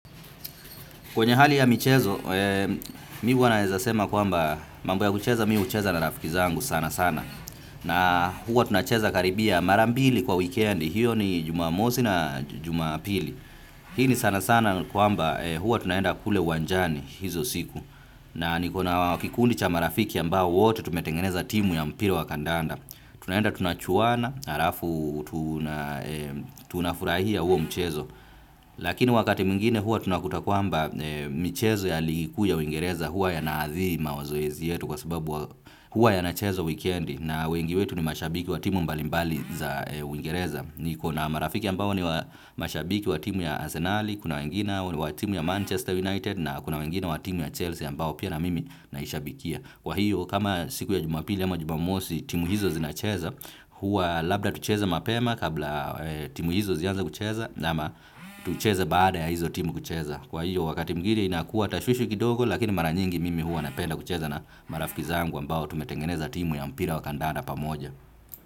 Kwenye hali ya michezo, mi wanaezasema kwamba mambo ya kucheza mi ucheza na rafiki zangu sana sana. Na huwa tunacheza karibia marambili kwa weekend, hiyo ni jumamosi na jumapili. Hii ni sana sana kwamba huwa tunaenda kule uwanjani hizo siku. Na nikona wakikundi cha marafiki ambao wote tumetengeneza timu ya mpira wa kandanda. Tunaenda tunachuana, harafu tunafurahia huwo mchezo. Lakini wakati mingine hua tunakutakuamba michezo ya ligi kuu ya uingereza hua ya naadhiri mawazoezi yetu kwa sababu hua yanachezwa weekendi na wengi wetu ni mashabiki wa timu mbalimbali za uingereza. Ni kona marafiki ambao ni mashabiki wa timu ya Asenali, kuna wengine wa timu ya Manchester United na kuna wengine wa timu ya Chelsea ambao pia na mimi naishabikia. Kwa hiyo kama siku ya jumapili ama jumamosi timu hizo zinacheza hua labda tucheza mapema kabla timu hizo zianza kucheza nama tucheza baada ya hizo timu kucheza. Kwa hiyo wakati mwingine inakuwa tashwishi kidogo lakini mara nyingi mimi hua napenda kucheza na marafiki zangu ambao tumetengeneza timu ya mpila wa kandada pamoja.